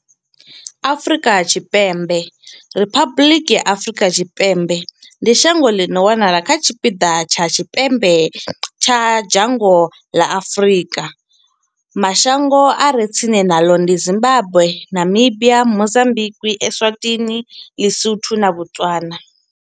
Afrika Tshipembe Riphabuḽiki ya Afrika Tshipembe ndi shango ḽi no wanala kha tshipiḓa tsha tshipembe tsha dzhango ḽa Afurika. Mashango a re tsini naḽo ndi Zimbagwe, Namibia, Mozambikwi, Eswatini, Ḽisotho na Botswana.